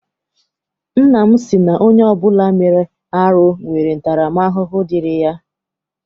Nna m sị na onye ọbụla mere arụ nwere ntara m ahụhụ dịịrị ya.